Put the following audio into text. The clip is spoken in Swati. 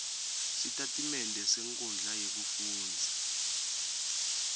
sitatimende senkhundla yekufundza